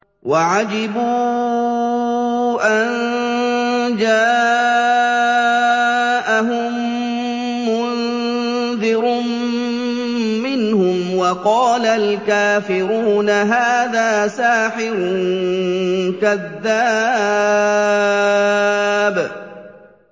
وَعَجِبُوا أَن جَاءَهُم مُّنذِرٌ مِّنْهُمْ ۖ وَقَالَ الْكَافِرُونَ هَٰذَا سَاحِرٌ كَذَّابٌ